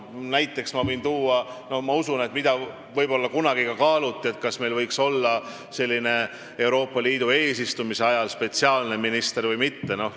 Näiteks ma võin tuua selle, mida minu teada kunagi kaaluti – kas meil võiks olla Euroopa Liidu eesistumise ajal spetsiaalne minister või mitte?